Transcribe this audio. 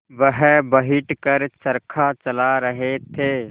वह बैठ कर चरखा चला रहे थे